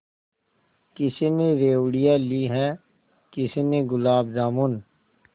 किसी ने रेवड़ियाँ ली हैं किसी ने गुलाब जामुन